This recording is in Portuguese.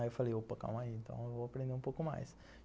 Aí eu falei, opa, calma aí, então eu vou aprender um pouco mais.